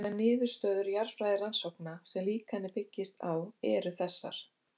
Þær niðurstöður jarðfræðirannsókna sem líkanið byggist á eru þessar